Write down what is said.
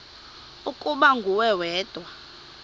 ukuba nguwe wedwa